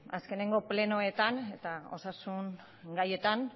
azkeneko plenoetan eta osasun gaietan